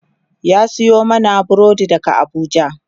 ya Sayo mana burodi daga Abuja